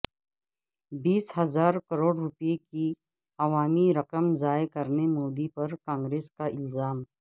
بیس ہزار کروڑ روپے کی عوامی رقم ضائع کرنے مودی پر کانگریس کا الزام